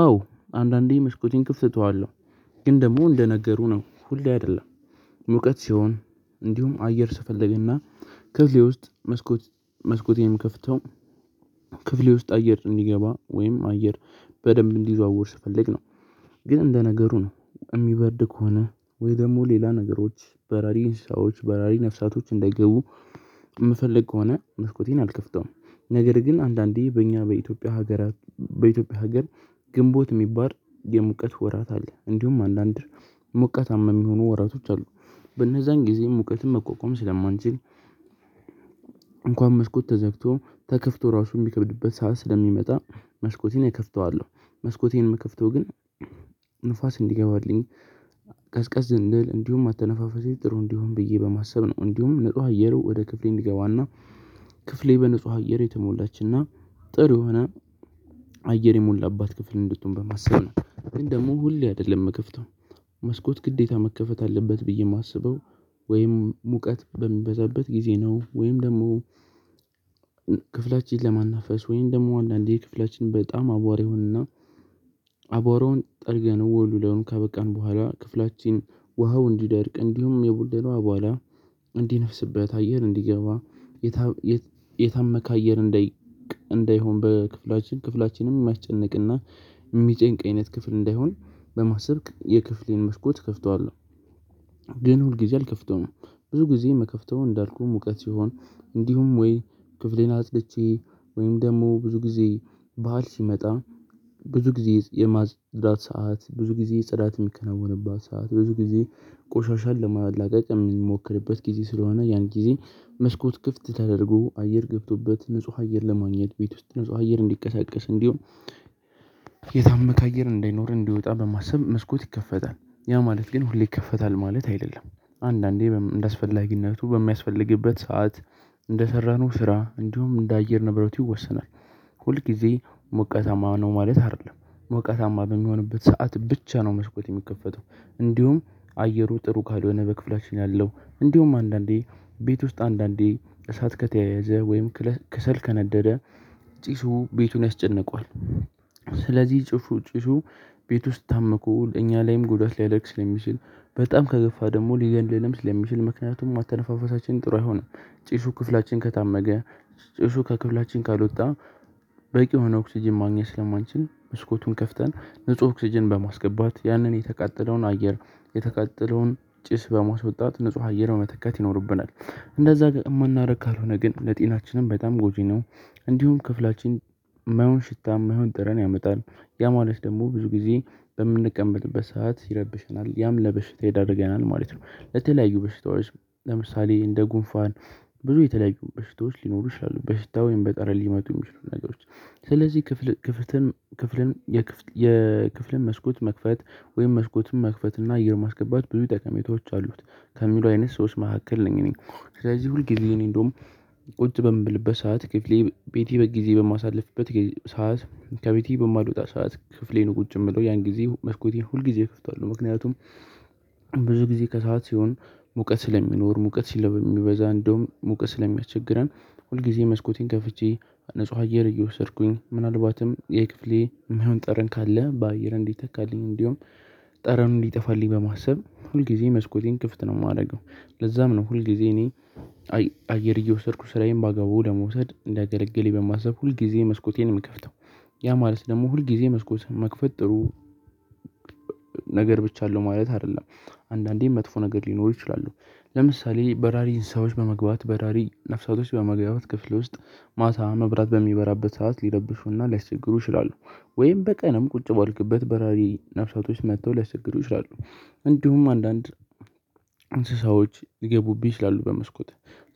አዎ አንዳንዴ መስኮቴን ክፍት እጠዋለሁ ግን ደግሞ እንደነገሩ ነው ሁሌ አይደለም። ሙቀት ሲሆን እንዲሁም አየር ስፈለግና ክፍሌ ውስጥ መስኮት መስኮቴን ምከፍተው። ክፍሌ ውስጥ አየር እንዲገባ ወይም አየር በደንብ እንዲዘዋወር ስፈልግነው። ግን እንደ ነገሩ ነው የሚበርድ ከሆነ ወይ ደግሞ ሌላ ነገሮች በራሪ እንስሳዎች በራሪ ነፍሳቶች እንዳይገቡ የምፈልግ ከሆነ መስኮቴን አልከፍተውም። ነገር ግን አንዳንዴ በእኛ በኢትዮጵያ ሀገራት በኢትዮጵያ ሀገር ግንቦት የሚባል የሙቀት ወራት አለ እንዲሁም አንዳንድ ሙቀታማ የሚሆኑ ወራቶች አሉ። በነዛን ጊዜ ሙቀትን መቋቋም ስለማንችል እንኳን መስኮት ተዘግቶ ተከፍቶ ራሱ የሚከብድበት ሰዓት ስለሚመጣ መስኮቴን እከፍተዋለሁ። መስኮቴን የምከፍተው ግን ንፋስ እንዲገባልኝ ቀዝቀዝ እንድል እንዲሁም አተነፋፈሴ ጥሩ እንዲሆን ብዬ በማሰብ ነው እንዲሁም ንጹህ አየሩ ወደ ክፍሌ እንዲገባና ክፍሌ በንጹህ አየር የተሞላችና ጥሩ የሆነ አየር የሞላባት ክፍል እንድትሆን በማሰብ ነው። ግን ደግሞ ሁሌ አይደለም የምከፍተው። መስኮት ግዴታ መከፈት አለበት ብዬ የማስበው ወይም ሙቀት በምበዛበት ጊዜ ነው ወይም ደግሞ ክፍላችን ለማናፈስ ወይም ደግሞ አንዳንዴ ክፍላችን በጣም አቧራ ይሆንና። አቧራውን ጠርገን ወልውለውን ካበቃን በኋላ ክፍላችን ውሃው እንዲደርቅ እንዲሁም የቦነነው አቧራ እንዲነፍስበት አየር እንዲገባ የታመከ አየር እንዳይሆን በክፍላችን ክፍላችንም የሚያስጨንቅ የሚጨንቅ አይነት ክፍል እንዳይሆን በማሰብ የክፍሌን መስኮት እከፍተዋለሁ። ግን ሁልጊዜ አልከፍተውም። ብዙ ጊዜ የምከፍተው እንዳልኩህ ሙቀት ሲሆን እንዲሁም ወይ ክፍሌን አጽድቼ ወይም ደግሞ ብዙ ጊዜ በዓል ሲመጣ ብዙ ጊዜ የማጽዳት ሰዓት ብዙ ጊዜ ጽዳት የሚከናወንባት ሰዓት ብዙ ጊዜ ቆሻሻን ለማላቀቅ የሚሞክርበት ጊዜ ስለሆነ ያን ጊዜ መስኮት ክፍት ተደርጎ አየር ገብቶበት ንጹህ አየር ለማግኘት ቤት ውስጥ ንጹህ አየር እንዲቀሳቀስ እንዲሆን። አየር እንደሚኖር እንዲወጣ በማሰብ መስኮት ይከፈታል ያ ማለት ግን ሁሌ ይከፈታል ማለት አይደለም አንዳንዴ እንደሚያስፈላጊነቱ በሚያስፈልግበት ሰዓት እንደሰራነው ስራ እንዲሁም እንደ አየር ንብረት ይወሰናል። ሁልጊዜ ሞቀታማ ነው ማለት አይደለም ሞቀታማ በሚሆንበት ሰዓት ብቻ ነው መስኮት የሚከፈተው። እንዲሁም አየሩ ጥሩ ካልሆነ በክፍላችን ያለው እንዲሁም አንዳንዴ ቤት ውስጥ አንዳንዴ እሳት ከተያያዘ ወይም ክሰል ከነደደ ጭሱ ቤቱን ያስጨንቋል። ስለዚህ ጽሁፉ ጭሱ ቤት ውስጥ ታምኩ ለእኛ ላይም ጉዳት ሊያደርግ ስለሚችል በጣም ከገፋ ደግሞ ሊገንድልም ስለሚችል ምክንያቱም አተነፋፈሳችን ጥሩ አይሆንም። ጭሹ ክፍላችን ከታመገ ጭሹ ከክፍላችን ካልወጣ በቂ የሆነ ኦክስጅን ማግኘት ስለማንችል መስኮቱን ከፍተን ንጹህ ኦክስጅን በማስገባት ያንን የተቃጠለውን አየር የተቃጠለውን ጭስ በመስወጣት ንጹህ አየር መተካት ይኖርብናል። እንደዛ ጋር የማናደርግ ካልሆነ ግን ለጤናችንም በጣም ጎጂ ነው። እንዲሁም ክፍላችን የማይሆን ሽታ የማይሆን ጥረን ያመጣል ያ ማለት ደግሞ ብዙ ጊዜ በምንቀመጥበት ሰዓት ይረብሸናል ያም ለበሽታ ይዳርገናል ማለት ነው። ለተለያዩ በሽታዎች ለምሳሌ እንደ ጉንፋን ብዙ የተለያዩ በሽታዎች ሊኖሩ ይችላሉ በሽታ ወይም በጠረን ሊመጡ የሚችሉ ነገሮች ስለዚህ ክፍል ክፍልን ክፍልን የክፍልን መስኮት መክፈት ወይም መስኮትን መክፈት እና እየር ማስገባት ብዙ ጠቀሜታዎች አሉት። ከሚሉ አይነት ሰዎች መካከል ነኝ እኔ። ስለዚህ ሁል ጊዜ እኔ እንደውም ቁጭ በምልበት ሰዓት ክፍሌ ቤቴ በጊዜ በማሳልፍበት ሰዓት ከቤቴ በማልወጣ ሰዓት ክፍሌ ነው ቁጭ የምለው ያን ጊዜ መስኮቴን ሁል ጊዜ እከፍታለሁ። ምክንያቱም ብዙ ጊዜ ከሰአት ሲሆን ሙቀት ስለሚኖር ሙቀት ሲለባ በሚበዛ እንደውም ሙቀት ስለሚያቸግረን ሁልጊዜ መስኮቴን ከፍቼ ንጹህ አየር እየወሰድኩኝ ምናልባትም የክፍሌ የማይሆን ጠረን ካለ በአየር እንዲተካልኝ እንዲሁም ጠረኑን እንዲጠፋልኝ በማሰብ ሁልጊዜ መስኮቴን ክፍት ነው የማደርገው። ለዛም ነው ሁልጊዜ እኔ አየር እየወሰድኩ ስራዬን ባግባቡ ለመውሰድ እንደገለገሌ በማሰብ ሁልጊዜ መስኮቴን የምከፍተው። ያ ማለት ደግሞ ሁልጊዜ መስኮት መክፈት ጥሩ ነገር ብቻ አለው ማለት አይደለም። አንዳንዴ መጥፎ ነገር ሊኖር ይችላሉ። ለምሳሌ በራሪ እንስሳዎች በመግባት በራሪ ነፍሳቶች በመግባባት ክፍል ውስጥ ማታ መብራት በሚበራበት ሰዓት ሊረብሹና ሊያስቸግሩ ይችላሉ። ወይም በቀንም ቁጭ ባልክበት በራሪ ነፍሳቶች መጥተው ሊያስቸግሩ ይችላሉ። እንዲሁም አንዳንድ እንስሳዎች ሊገቡብኝ ይችላሉ በመስኮት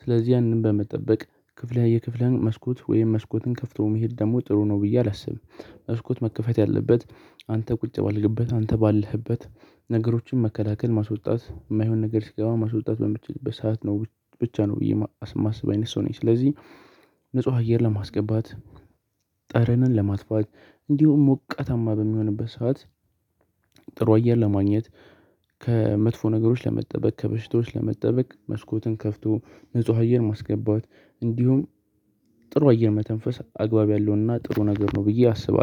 ስለዚህ ያንን በመጠበቅ ክፍለ የክፍልህን መስኮት ወይም መስኮትን ከፍቶ መሄድ ደግሞ ጥሩ ነው ብዬ አላስብም። መስኮት መከፈት ያለበት አንተ ቁጭ ባልክበት አንተ ባለህበት ነገሮችን መከላከል ማስወጣት የማይሆን ነገር ሲገባ ማስወጣት በምትችልበት ሰዓት ነው። ብቻ ነው ብዬ የማስበው አይነት ሰው ነኝ ስለዚህ። ንጹህ አየር ለማስገባት ጠረንን ለማጥፋት እንዲሁም ሞቀታማ በሚሆንበት ሰዓት ጥሩ አየር ለማግኘት ከመጥፎ ነገሮች ለመጠበቅ ከበሽታዎች ለመጠበቅ መስኮትን ከፍቶ ንጹህ አየር ማስገባት እንዲሁም ጥሩ አየር መተንፈስ አግባብ ያለውና ጥሩ ነገር ነው ብዬ አስባለሁ